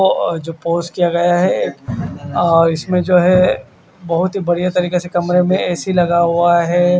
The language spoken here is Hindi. और जो पोस किया गया है और इसमें जो है बोहोत ही बढ़िया तरीके से कमरे में ए_सी लगा हुआ है।